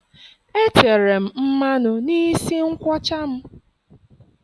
Etere m mmanụ n'isi nkwọcha m.